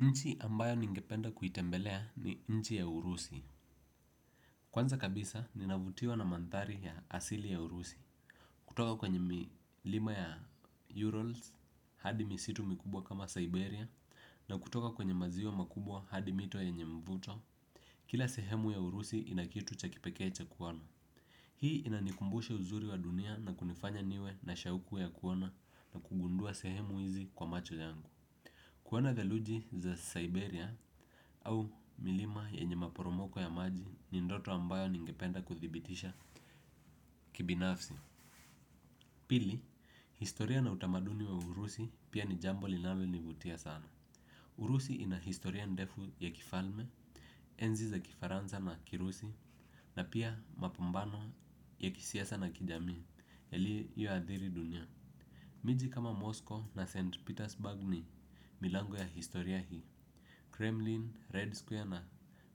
Nchi ambayo ningependa kuitembelea ni nchi ya urusi. Kwanza kabisa ninavutiwa na mandhari ya asili ya urusi. Kutoka kwenye milima ya Urals hadi misitu mikubwa kama Siberia. Na kutoka kwenye maziwa makubwa hadi mito yenye mvuto. Kila sehemu ya urusi ina kitu cha kipekee cha kuona. Hii inanikumbusha uzuri wa dunia na kunifanya niwe na shauku ya kuona na kugundua sehemu izi kwa macho yangu. Kuona theluji za Siberia Au milima yenye maporomoko ya maji ni ndoto ambayo ningependa kuthibitisha kibinafsi. Pili, historia na utamaduni wa urusi pia ni jambo linalonivutia sana Urusi ina historia ndefu ya kifalme, enzi za kifaranza na kirusi na pia mapumbano ya kisiasa na kijamii yaliyoadhiri dunia. Miji kama Mosko na St. Petersburg ni milango ya historia hii Kremlin, Red Square na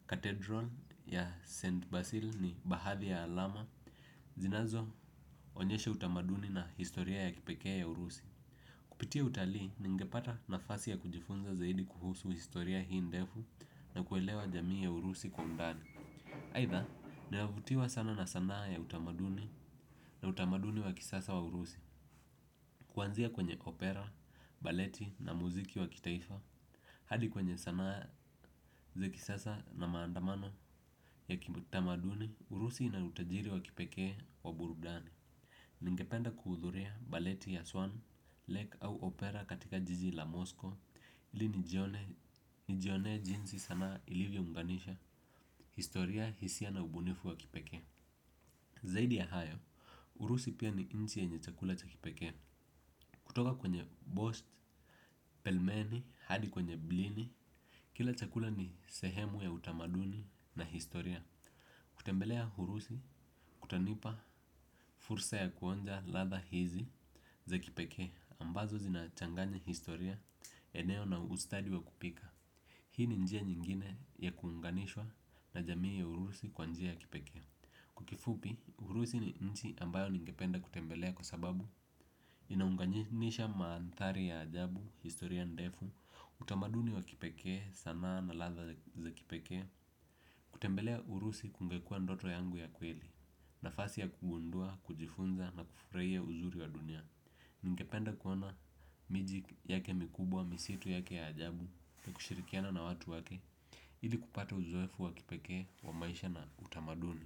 Cathedral ya St. Basil ni bahathi ya alama zinazo onyesha utamaduni na historia ya kipekee ya urusi. Kupitia utalii ningepata nafasi ya kujifunza zaidi kuhusu historia hii ndefu na kuelewa jamii ya urusi kwa undani aitha, ninavutiwa sana na sanaa ya utamaduni na utamaduni wa kisasa wa urusi. Kuanzia kwenye opera, baleti na muziki wa kitaifa hadi kwenye sanaa za kisasa na maandamano ya kibutamaduni, urusi ina utajiri wa kipekee wa burudani. Ningependa kuhudhuria baleti ya swan, lake au opera katika jiji la mosko ili nijione nijionee jinsi sanaa ilivyo unganisha, historia, hisia na ubunifu wa kipekee zaidi ya hayo urusi pia ni nchi yenye chakula cha kipekee. Kutoka kwenye bosht, pelmeni, hadi kwenye blini. Kila chakula ni sehemu ya utamaduni na historia. Kutembelea hurusi kutanipa fursa ya kuonja ladha hizi za kipekee ambazo zinachanganya historia eneo na ustadi wa kupika hii ni njia nyingine ya kuunganishwa na jamii ya urusi kwa njia ya kipekee. Kwa kifupi, urusi ni nchi ambayo ningependa kutembelea kwa sababu inaunganisha maandhari ya ajabu, historia ndefu, utamaduni wa kipekee sanaa na ladha za kipekee. Kutembelea urusi kungekua ndoto yangu ya kweli nafasi ya kugundua, kujifunza na kufraia uzuri wa dunia ningepende kuona miji yake mikubwa, misitu yake ya ajabu na kushirikiana na watu wake ili kupata uzoefu wa kipekee, wa maisha na utamaduni.